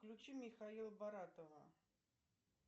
включи михаила баратова